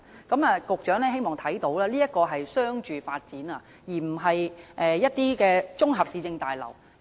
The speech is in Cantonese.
我希望局長注意到，這是一個商住發展項目，而非綜合市政大樓。